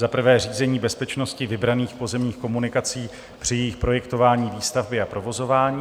Za prvé řízení bezpečnosti vybraných pozemních komunikací při jejich projektování, výstavbě a provozování.